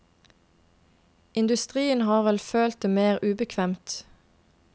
Industrien har vel følt det mer ubekvemt.